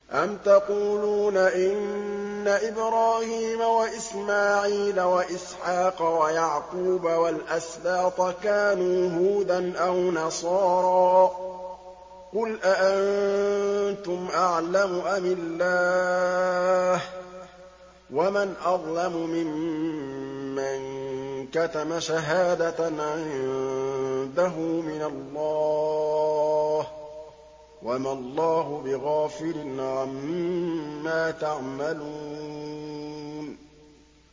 أَمْ تَقُولُونَ إِنَّ إِبْرَاهِيمَ وَإِسْمَاعِيلَ وَإِسْحَاقَ وَيَعْقُوبَ وَالْأَسْبَاطَ كَانُوا هُودًا أَوْ نَصَارَىٰ ۗ قُلْ أَأَنتُمْ أَعْلَمُ أَمِ اللَّهُ ۗ وَمَنْ أَظْلَمُ مِمَّن كَتَمَ شَهَادَةً عِندَهُ مِنَ اللَّهِ ۗ وَمَا اللَّهُ بِغَافِلٍ عَمَّا تَعْمَلُونَ